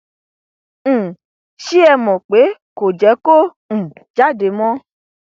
um ṣé ẹ mọ pé kò jẹ kó um jáde mọ